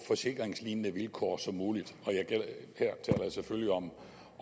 forsikringslignende vilkår som muligt og jeg selvfølgelig om